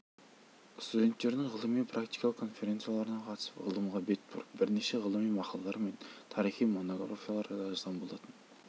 студенттердің ғылыми практикалық конференцияларына қатысып ғылымға бет бұрып бірнеше ғылыми мақалалар мен тарихи монографиялар да жазған болатын